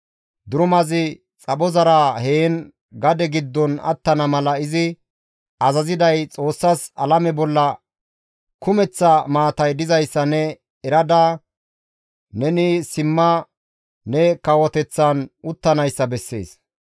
Durumazi xaphozara heen gade giddon attana mala izi azaziday Xoossas alame bolla kumeththa maatay dizayssa ne erada neni simma ne kawoteththan uttanayssa bessees.